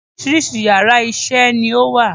Oríṣiríṣi yàrá isé ni ó wà